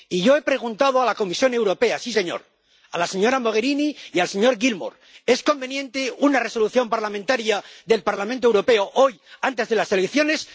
Y yo he preguntado a la Comisión Europea —sí, señor—, a la señora Mogherini y al señor Gilmore ¿es conveniente una Resolución parlamentaria del Parlamento Europeo hoy, antes de las elecciones?